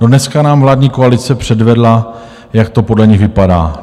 No, dneska nám vládní koalice předvedla, jak to podle nich vypadá.